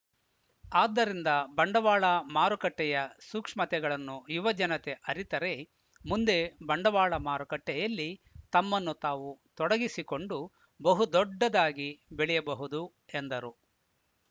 ಆದ್ದರಿಂದ ಬಂಡವಾಳ ಮಾರುಕಟ್ಟೆಯ ಸೂಕ್ಷ್ಮತೆಗಳನ್ನು ಯುವ ಜನತೆ ಅರಿತರೆ ಮುಂದೆ ಬಂಡವಾಳ ಮಾರುಕಟ್ಟೆಯಲ್ಲಿ ತಮ್ಮನ್ನು ತಾವು ತೊಡಗಿಸಿಕೊಂಡು ಬಹುದೊಡ್ಡದಾಗಿ ಬೆಳೆಯಬಹುದು ಎಂದರು